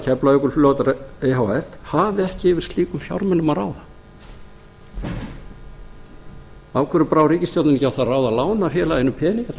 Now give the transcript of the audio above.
keflavíkurflugvallar e h f hafi ekki yfir slíkum fjármunum að ráða af hverju brá ríkisstjórnin ekki á það ráð að lána félaginu peninga til að